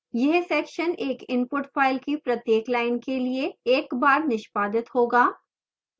यह section एक input file की प्रत्येक line के लिए एक बार निष्पादित होगा